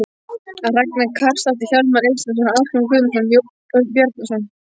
Ragna Karlsdóttir, Hjálmar Eysteinsson, Ásgrímur Guðmundsson, Jón Örn Bjarnason